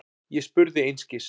Ég spurði einskis.